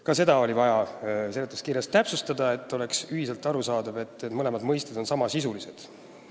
Ka seda oli vaja seletuskirjas täpsustada, et oleks ühiselt arusaadav: need on samasisulised terminid.